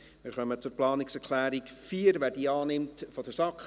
Wir kommen zur Planungserklärung 4 der SAK: